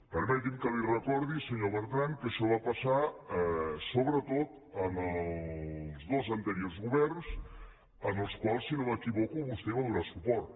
permeti’m que li recordi senyor bertran que això va passar sobretot en els dos anteriors governs als quals si no m’equivoco vostè va donar suport